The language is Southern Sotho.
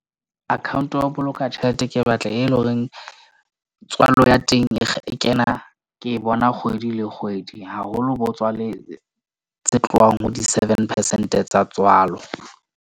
Account ya ho boloka tjhelete ke batla e le horeng tswalo ya teng e kena, ke bona kgwedi le kgwedi, haholo botswalle tse tlong, ho di seven percent-e tsa tswalo.